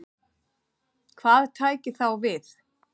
Hvað tæki þá við?